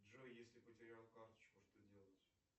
джой если потерял карточку что делать